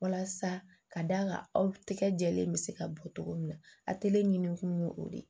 Walasa ka d'a kan aw tɛgɛ jɛlen bɛ se ka bɔ cogo min na a kɛlen ɲini kun ye o de ye